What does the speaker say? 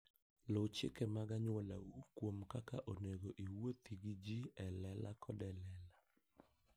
Luw chike mag anyuolau kuom kaka onego iwuothi gi ji e lela koda e lela.